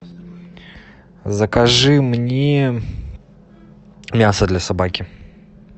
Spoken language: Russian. закажи мне мясо для собаки